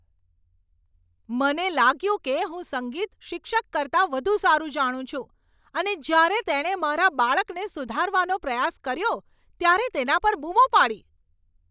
મને લાગ્યું કે હું સંગીત શિક્ષક કરતાં વધુ સારું જાણું છું અને જ્યારે તેણે મારા બાળકને સુધારવાનો પ્રયાસ કર્યો ત્યારે તેના પર બૂમો પાડી.